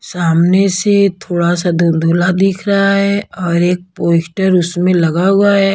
सामने से थोड़ा सा धुनधुला दिख रहा है और एक पोस्टर उसमें लगा हुआ है।